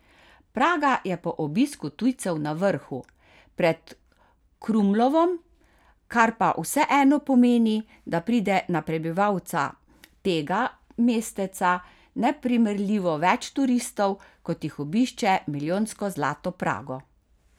Praga je po obisku tujcev na vrhu, pred Krumlovom, kar pa vseeno pomeni, da pride na prebivalca tega mesteca neprimerljivo več turistov, kot jih obišče milijonsko zlato Prago.